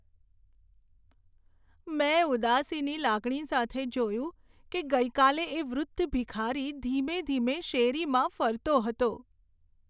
મેં ઉદાસીની લાગણી સાથે જોયું કે ગઈકાલે એ વૃદ્ધ ભિખારી ધીમે ધીમે શેરીમાં ફરતો હતો.